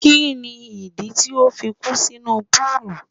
Kí ni ìdí tí o fi kú sínú púùlù?